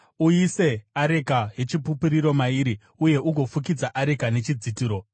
Uise areka yeChipupuriro mairi uye ugofukidza areka nechidzitiro.